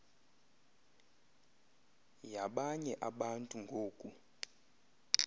yabanye abantu ngoku